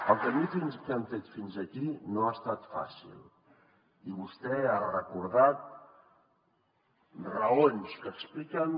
el camí que hem fet fins aquí no ha estat fàcil i vostè ha recordat raons que expliquen